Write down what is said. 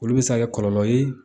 Olu bɛ se ka kɛ kɔlɔlɔ ye